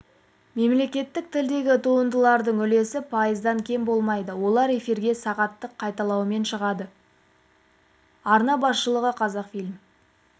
мемлекеттік тілдегі туындылардың үлесі пайыздан кем болмайды олар эфирге сағаттық қайталаумен шығады арна басшылығы қазақфильм